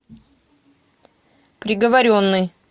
приговоренный